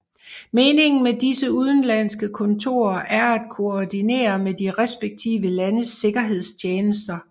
Meningen med disse udenlandske kontorer er at koordinere med de respektive landes sikkerhedstjenester